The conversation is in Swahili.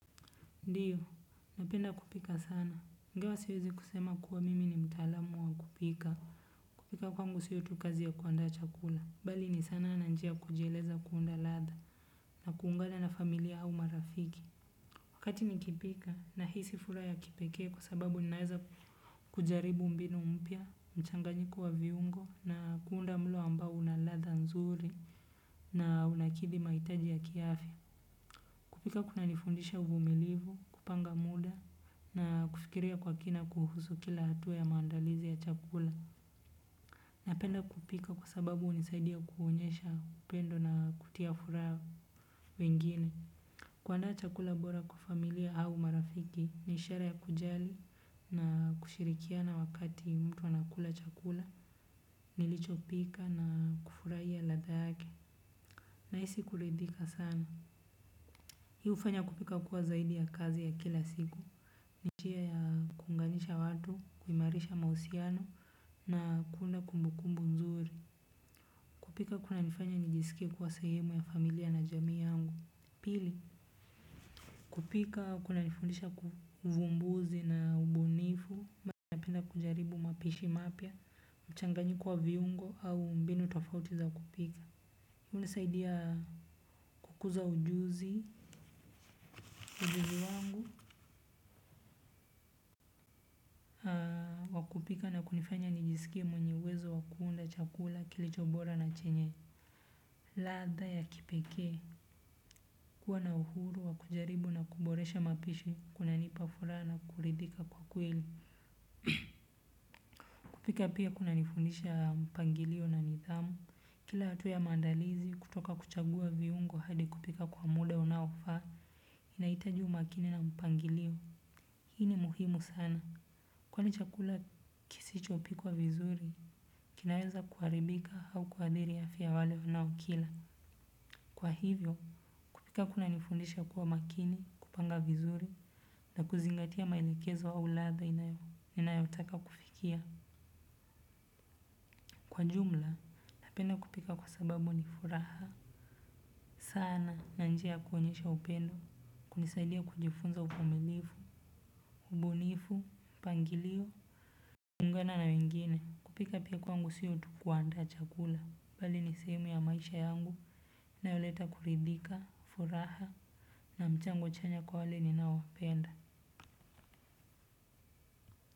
Ndiyo, napenda kupika sana. Ingawa siwezi kusema kuwa mimi ni mtalamu wa kupika. Kupika kwangu siyo tu kazi ya kuanda chakula. Bali ni sana nanjia kujeleza kuunda latha na kuungana na familia hau marafiki. Wakati nikipika na hisi fura ya kipeke kwa sababu ninaeza kujaribu mbinu mpia, mchanganyiko wa viungo na kuunda mlo ambao una latha nzuri na unakithi maitaji ya kiafi. Kupika kuna nifundisha uvumilivu, kupanga muda na kufikiria kwa kina kuhusu kila hatu ya maandalizi ya chakula. Napenda kupika kwa sababu unisaidia kuhonyesha upendo na kutia fura wengine. Kuanda chakula bora kwa familia au marafiki, nishara ya kujali na kushirikiana wakati mtu anakula chakula, nilicho pika na kufuraiya latha yake. Na hisi kuridhika sana. Hii ufanya kupika kuwa zaidi ya kazi ya kila siku. Ni tia ya kunganisha watu, kuimarisha mauhusiano na kuunda kumbukumbu nzuri. Kupika kuna nifanya nijisikie kwa sehemu ya familia na jamii yangu. Pili, kupika kunanifundisha ku uvumbuzi na ubunifu napenda kujaribu mapishi mapya, mchanganyiko viungo au mbinu tofauti za kupika hunanisaidia kukuza ujuzi. Ujuzi wangu kwa kupika na kunifanya nijisikie mwenye uwezo wa kuunda chakula kilicho bora na chenye ladha ya kipekee, kuwa na uhuru wa kujaribu na kuboresha mapishi kunanipa furaha na kuridhika kwa kweli. Kupika pia kuna nifundisha mpangilio na nidhamu. Kila hatu ya mandalizi kutoka kuchagua viungo hadi kupika kwa muda unaofaa, inahita umakini na mpangilio. Hii ni muhimu sana. Kwani chakula kisichopikwa vizuri kinaweza kuharibika au kuadhiri afya ya wale wanaokila. Kwa hivyo, kupika kuna nifundisha kuwa makini, kupanga vizuri, na kuzingatia maelekezo au ladha inayo, inayotaka kufikia. Kwa jumla, napenda kupika kwa sababu ni furaha. Sana, na njia ya kuonyesha upendo, kunisaidia kujifunza uvumilifu, ubunifu, mpangilio. kuungana na wengine, kupika pia kwangu siyo tu kuandaa chakula. Bali ni sehemu ya maisha yangu inayoleta kuridhika furaha na mchango chanya kwa wale ninaopenda.